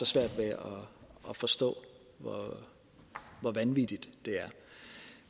svært ved at forstå hvor vanvittige er